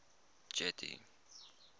getty